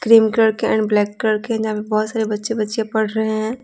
Cream colour के and black colour के है जहाँ पे बहुत सारे बच्चे-बच्चियाँ पढ़ रहे हैं।